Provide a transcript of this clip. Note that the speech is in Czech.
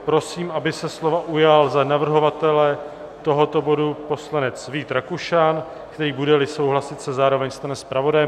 Prosím, aby se slova ujal za navrhovatele tohoto bodu poslanec Vít Rakušan, který, bude-li souhlasit, se zároveň stane zpravodajem.